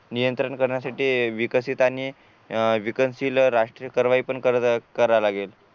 नियंत्रण करण्यासाठी विकसित आणि अह विकसनशील राष्ट्रीय कारवाई पण करावी लागेल